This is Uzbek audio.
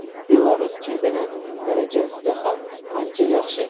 Belarus chempionatining darajasida ham ancha yaxshi”.